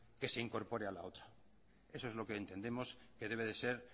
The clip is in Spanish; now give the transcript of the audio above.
que se incorpore a la otra eso es lo que entendemos que debe de ser